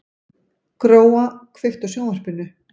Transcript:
Gróa, kveiktu á sjónvarpinu.